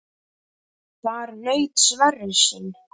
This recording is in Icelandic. Þar naut Sverrir sín.